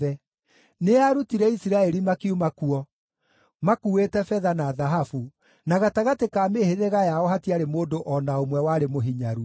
Nĩaarutire Isiraeli makiuma kuo, makuuĩte betha na thahabu, na gatagatĩ ka mĩhĩrĩga yao hatiarĩ mũndũ o na ũmwe warĩ mũhinyaru.